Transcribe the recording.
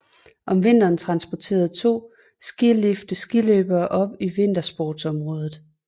Om vinteren transporterer to skilifte skiløbere op til vintersportsområdet